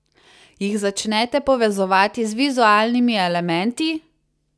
Jih začnete povezovati z vizualnimi elementi?